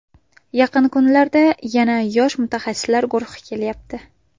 Yaqin kunlarda yana yosh mutaxassislar guruhi kelyapti.